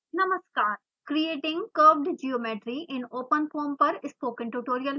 नमस्कार ! creating curved geometry in openfoam पर spoken tutorial में आपका स्वागत है